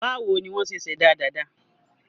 Báwo ni wọ́n ṣe ṣẹ̀dá dàda?